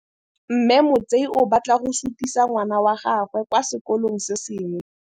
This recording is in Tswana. Mme Motsei o batla go sutisa ngwana wa gagwe kwa sekolong se sengwe.